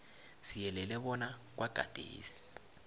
siyelele bona kwagadesi